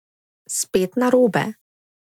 Spet narobe.